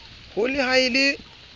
ho le ha e le